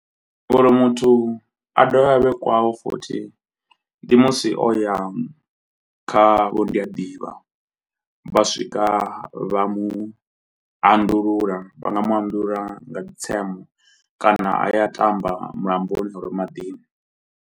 Uri muthu a dovhe a vhe kwae futhi ndi musi o ya kha vho ndi a ḓivha, vha swika vha mu anḓulula vha nga mu anḓulula nga kana a ya a ṱamba mulamboni maḓini.